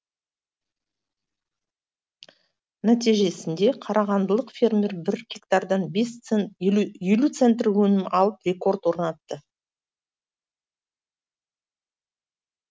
нәтижесінде қарағандылық фермер бір гектардан елу елу центнер өнім алып рекорд орнатты